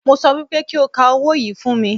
Mo sọ wípé kí o ka owó yìí fún mi